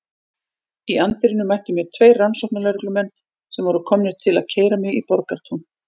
Í anddyrinu mættu mér tveir rannsóknarlögreglumenn sem voru komnir til að keyra mig í Borgartún.